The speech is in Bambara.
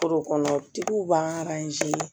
Foro kɔnɔ tigiw b'an